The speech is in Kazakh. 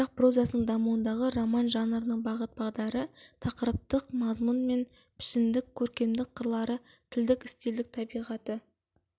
қазақ прозасының дамуындағы роман жанрының бағыт-бағдары тақырыптық мазмұн мен пішіндік көркемдік қырлары тілдік стильдік табиғаты